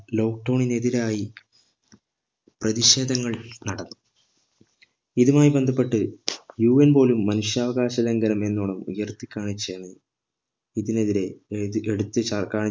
lockdown ന് എതിരായി പ്രതിഷേധങ്ങൾ നടന്നു ഇതുമായി ബന്ധപ്പെട്ട് UN പോലും മനുഷ്യാവകാശ ലംഘനം എന്നോണം ഉയർത്തി കാണിച്ചു ഇതിനെതിരെ ഏർ എടുത്ത്